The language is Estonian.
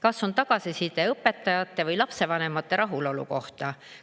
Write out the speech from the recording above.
Kas on tagasiside õpetajate või lapsevanemate rahulolu kohta?